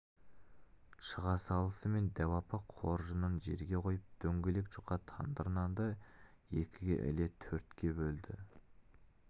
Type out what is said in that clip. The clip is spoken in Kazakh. шыға салысымен дәу апа қоржынын жерге қойып дөңгелек жұқа тандыр нанды екіге іле төртке бөлді